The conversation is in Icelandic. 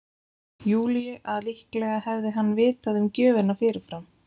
Júlíu að líklega hefði hann vitað um gjöfina fyrirfram.